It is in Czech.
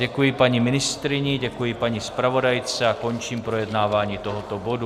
Děkuji paní ministryni, děkuji paní zpravodajce a končím projednávání tohoto bodu.